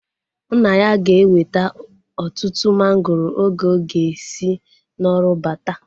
Nna ya ga-eweta ọtụtụ mangoro oge ọ ga-esi n'ọrụ bata